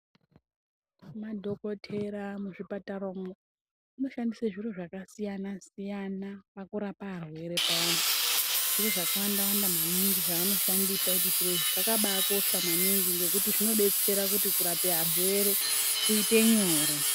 Madhokotera muzvipatara umwo anoshandise zviro zvakasiyana siyana pakurapa arwere payani zviro zvakawanda wanda maningi zvanoshandisa ende zviro izvi zvakaba kosha maningi ngekuti zvinodetsera kuti kurape arwere kuite nyore